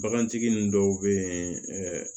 Bagantigi ninnu dɔw bɛ yen